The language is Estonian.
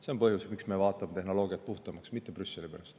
See on põhjus, miks me muudame tehnoloogiat puhtamaks, aga mitte Brüsseli pärast.